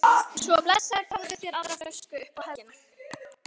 Svo blessaður fáðu þér aðra flösku upp á helgina